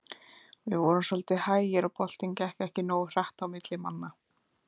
Við vorum svolítið hægir og boltinn gekk ekki nógu hratt á milli manna.